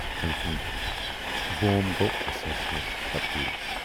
أمۍ سُنٛد بوم گوٚو اسنَس منٛز تبدیٖل۔